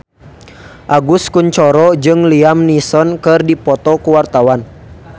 Agus Kuncoro jeung Liam Neeson keur dipoto ku wartawan